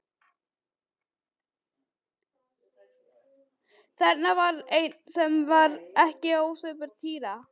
Þarna var einn sem var ekki ósvipaður Týra.